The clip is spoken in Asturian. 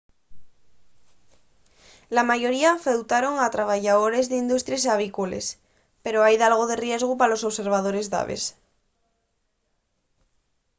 la mayoría afectaron a trabayadores d’industries avícoles pero hai dalgo de riesgu pa los observadores d’aves